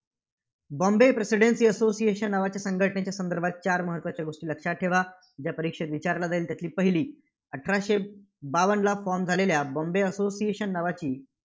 बाँबे presidency association नावाच्या संघटनेच्या संदर्भात चार महत्त्वाचे गोष्टी लक्षात ठेवा, जे परीक्षेत विचारलं जाईल. त्यातली पहिली, अठराशे बावन्नला form झालेल्या बाँबे असोसिएशन नावाची